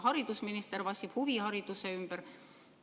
Haridusminister vassib huvihariduse ümber.